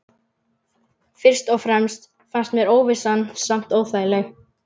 Fyrst og fremst fannst mér óvissan samt óþægileg.